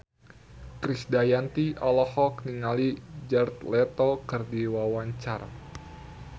Krisdayanti olohok ningali Jared Leto keur diwawancara